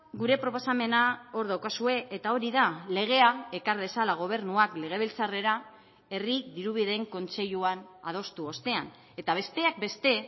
gure proposamena hor daukazue eta hori da legea ekar dezala gobernuak legebiltzarrera herri dirubideen kontseiluan adostu ostean eta besteak beste